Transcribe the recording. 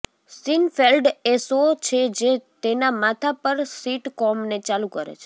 Seinfeld એ show છે જે તેના માથા પર સિટકોમને ચાલુ કરે છે